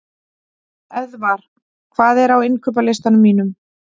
Eðvar, hvað er á innkaupalistanum mínum?